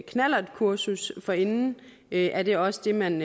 knallertkursus forinden er det også det man